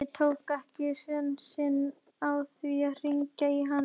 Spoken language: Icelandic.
Magnús Hlynur: Og þetta er eini plógurinn á Íslandi?